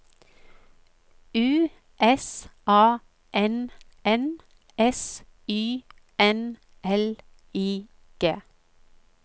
U S A N N S Y N L I G